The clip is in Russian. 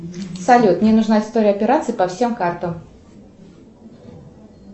салют мне нужна история операций по всем картам